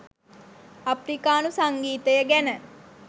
අප්‍රිකානු සංගීතය ගැන